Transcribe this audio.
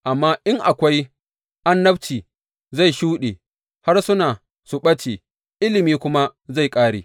Amma in akwai annabci zai shuɗe, harsuna su ɓace, ilimi kuma zai ƙare.